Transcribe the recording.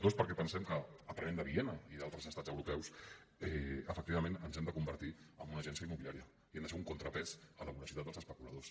dos perquè pensem que aprenent de viena i d’altres estats europeus efectivament ens hem de convertir en una agència immobiliària i hem de ser un contrapès a la voracitat dels especuladors